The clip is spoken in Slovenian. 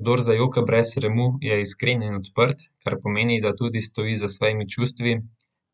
Kdor zajoka brez sramu, je iskren in odprt, kar pomeni, da tudi stoji za svojimi čustvi,